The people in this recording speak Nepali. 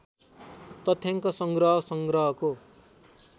तथ्याङ्क संग्रह संग्रहको